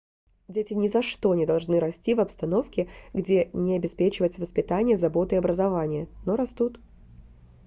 дети ни за что не должны расти в обстановке где не обеспечивается воспитание забота и образование но растут